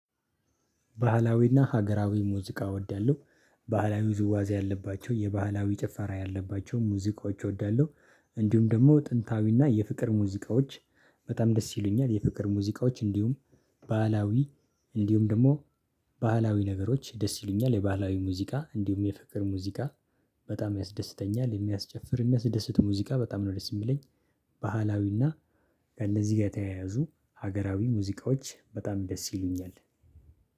ባህላዊና ሀገራዊ ሙዚቃ እወዳለሁ። ባህላዊ ውዝዋዜ ያለባቸው የባህላዊ ጭፈራ ያለባቸው ሙዚቃዎች እወዳለሁ። እንዲሁም ደግሞ ጥንታዊና የፍቅር ሙዚቃዎች በጣም ደስ ይሉኛል። የፍቅር ሙዚቃዎች እንዲሁም ባህላዊ እንዲሁም ደግሞ። ባህላዊ ነገሮች ደስ ይሉኛል የባህላዊ ሙዚቃ እንዲሁም የፍቅር ሙዚቃ። በጣም ያስደስተኛል የሚያስጨፍር የሚያስደስት ሙዚቃ በጣም ነው ደስ የሚለኝ። ባህላዊና ከእነዚህ ጋር የተያያዙ ሀገራዊ ሙዚቃዎች በጣም ደስ ይሉኛል